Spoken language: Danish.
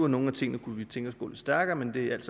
nogle af tingene kunne vi tænke gå lidt stærkere men det er alt